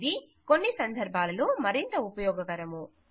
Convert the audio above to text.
ఇది కొన్ని సందర్భాలలో మరింత ఉపయోగకరము